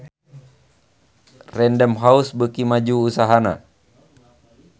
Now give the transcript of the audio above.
Random House beuki maju usahana